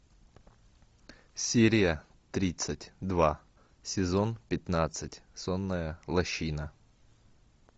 серия тридцать два сезон пятнадцать сонная лощина